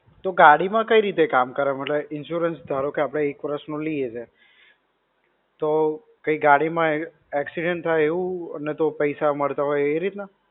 તો ગાડી માં કઈ રીતે કામ કરે? મતલબ insurance ધારો કે આપણે એક વરસ નો લઈએ છે, તો કઈ ગાડી માં accident થાય એવું કઈ પૈસા મળતા હોય એ રીતના?